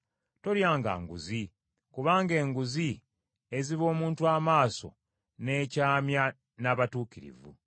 “Tolyanga nguzi, kubanga enguzi eziba omuntu amaaso n’ekyamya n’abatuukirivu.